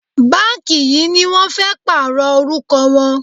Báǹkì yìí ni wọ́n fẹ́ pààrọ̀ orúkọ wọn.